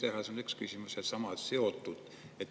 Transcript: See on üks küsimus.